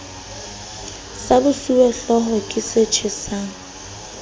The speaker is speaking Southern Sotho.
sa bosuwehlooho ke se tjhesang